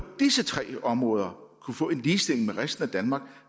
disse tre områder kunne få en ligestilling med resten af danmark